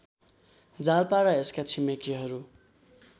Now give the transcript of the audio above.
जालपा र यसका छिमेकीहरू